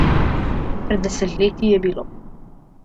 Pred desetletji je bilo.